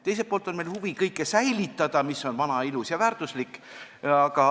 Teiselt poolt on meil huvi säilitada kõike, mis on vana, ilus ja väärtuslik.